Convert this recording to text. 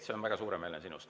See on väga suuremeelne sinust.